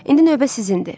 İndi növbə sizindir.